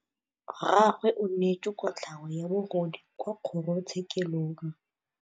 Rragwe o neetswe kotlhaô ya bogodu kwa kgoro tshêkêlông.